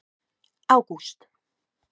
ágúst